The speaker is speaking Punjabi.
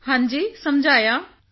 ਹਾਂਜੀ ਸਮਝਾਇਆ ਹਾਂਜੀ